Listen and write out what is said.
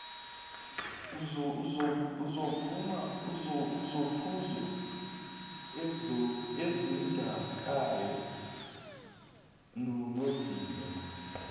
iziphuzo ezidakayo nobhiya